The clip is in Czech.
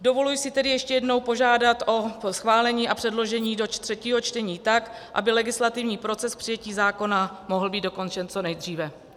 Dovoluji si tedy ještě jednou požádat o schválení a předložení do třetího čtení tak, aby legislativní proces přijetí zákona mohl být dokončen co nejdříve.